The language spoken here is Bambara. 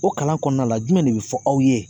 O kalan kɔnɔna la jumɛn de bi fɔ aw ye